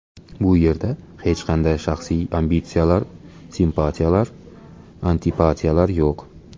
Bu yerda hech qanday shaxsiy ambitsiyalar, simpatiyalar, antipatiyalar yo‘q.